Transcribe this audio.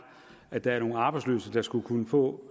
at der er nogle arbejdsløse der skulle kunne få